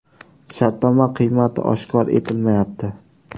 Shartnoma qiymati oshkor etilmayapti.